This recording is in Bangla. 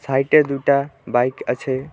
সাইটে দুটা বাইক আছে।